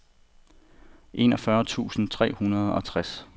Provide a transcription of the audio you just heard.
enogfyrre tusind tre hundrede og tres